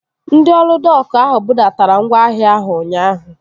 Ndị ọrụ dok ahụ budatara ngwaahịa ahụ ụnyaahụ